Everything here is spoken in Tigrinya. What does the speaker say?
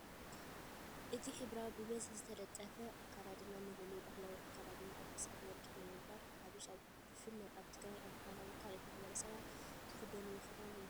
እቲ ሕብራዊ፣ ብብዝሒ ዝተጠልፈ ኣከዳድና መለለዪ ባህላዊ ኣከዳድና ኣብ ክሳድ ወርቂ ብምግባር ሓበሻ ብፍላይ ኣብ ትግራይ፣ ኣምሓራ፣ ወይ ካልኦት ማሕበረሰባት ዝክደንዎ ክዳን እዩ።